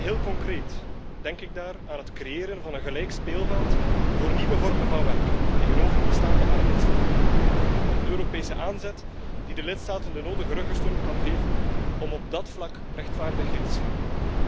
Heel concreet denk ik daar aan het creëren van een gelijk speelveld voor nieuwe vormen van werk tegenover bestaande arbeidsvormen, een Europese aanzet die de lidstaten de nodige ruggensteun kan geven om op dat vlak rechtvaardigheid te scheppen.